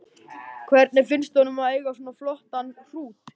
Hvernig finnst honum að eiga svona flottan hrút?